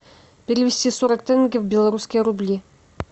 перевести сорок тенге в белорусские рубли